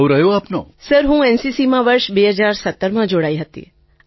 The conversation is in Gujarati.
તરન્નુમ ખાન સર હું એનસીસીમાં વર્ષ ૨૦૧૭માં જોડાઈ હતી અને